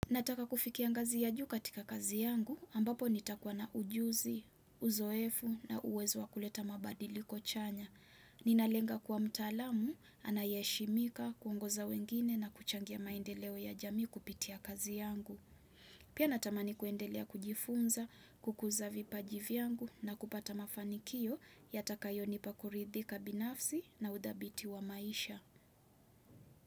Nataka kufikia ngazi ya juu katika kazi yangu, ambapo nitakuwa na ujuzi, uzoefu na uwezo wa kuleta mabadiliko chanya. Ninalenga kuwa mtaalamu, anayeheshimika, kuongoza wengine na kuchangia maendeleo ya jamii kupitia kazi yangu. Pia natamani kuendelea kujifunza, kukuza vipaji vyangu na kupata mafanikio yatakayo nipa kuridhika binafsi na udhabiti wa maisha.